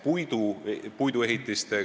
Suur aitäh!